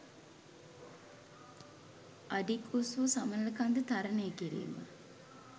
අඩි ක් උස්වූ සමනළකන්ද තරණය කිරීම